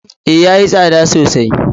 Ee, ya yi tsada sosai.